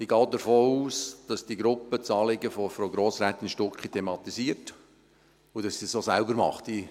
Ich gehe auch davon aus, dass die Gruppe das Anliegen von Frau Grossrätin Stucki thematisiert und dass sie es auch von selbst tut.